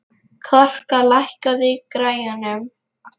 Korka, lækkaðu í græjunum.